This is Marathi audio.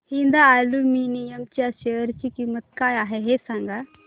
हिंद अॅल्युमिनियम च्या शेअर ची किंमत काय आहे हे सांगा